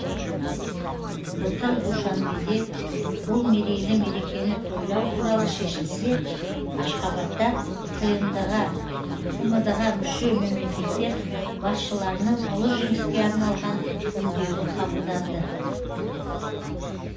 былтыр душанбеде бұл мерейлі мерекені тойлау туралы шешілсе ашхабадта тмд ға мүше мемлекеттер басшыларының ұлы жеңіске арналған үндеуі қабылданды